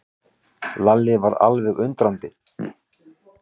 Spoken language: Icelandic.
Lalli varð alveg undrandi.